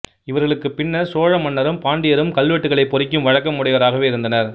இவர்களுக்குப் பின்னர் சோழ மன்னரும் பாண்டியரும் கல்வெட்டுக்களைப் பொறிக்கும் வழக்கம் உடையோராக இருந்தனர்